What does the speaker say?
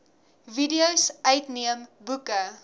videos uitneem boeke